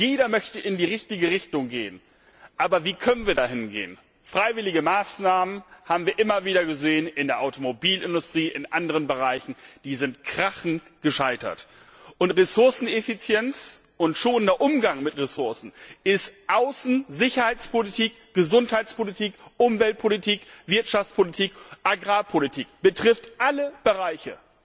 Jeder möchte in die richtige Richtung gehen, aber wie können wir dahingehen? Freiwillige Maßnahmen das haben wir immer wieder gesehen, in der Automobilindustrie, in anderen Bereichen sind krachend gescheitert. Ressourceneffizienz und schonender Umgang mit Ressourcen ist Außen Sicherheitspolitik, Gesundheitspolitik, Umweltpolitik, Wirtschaftspolitik, Agrarpolitik, betrifft alle Bereiche.